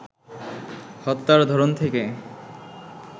হত্যার ধরন থেকে